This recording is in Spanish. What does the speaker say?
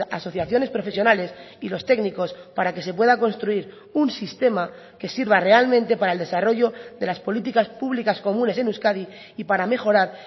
asociaciones profesionales y los técnicos para que se pueda construir un sistema que sirva realmente para el desarrollo de las políticas públicas comunes en euskadi y para mejorar